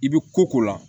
I bɛ ko ko la